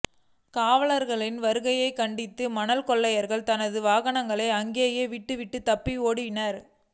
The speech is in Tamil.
காவலாளர்களின் வருகையைக் கண்டதும் மணல் கொள்ளையர்கள் தங்களது வாகனங்களை அங்கேயே விட்டுவிட்டு தப்பியோடிவிட்டனர்